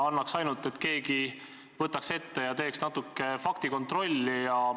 Annaks ainult, et keegi võtaks kätte ja teeks natuke faktikontrolli!